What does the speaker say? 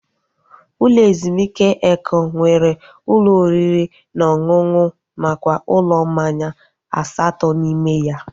Ụlọ ezumike Eko nwere ụlọ oriri na ọṅụṅụ nakwa ụlọ mmanya asatọ n'ime ya